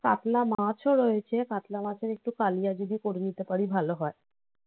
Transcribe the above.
কাতলা মাছও রয়েছে কাতলা মাছের একটু কালিয়া যদি করে নিতে পারি ভালো হয়.